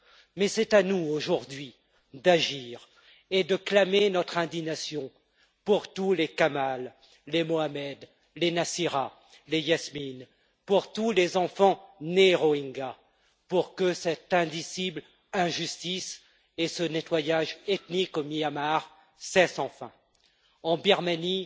Mais c'est à nous, aujourd'hui, d'agir et de clamer notre indignation pour tous les Kamal, les Mohammed, les Nacira, les Yasmine, pour tous les enfants nés Rohingyas, pour que cette indicible injustice et ce nettoyage ethnique au Myanmar cessent enfin. En Birmanie,